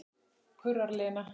kurrar Lena.